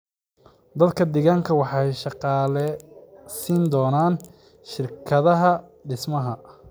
Dadka deegaanka waxay shaqaale siin doonaan shirkadaha dhismaha.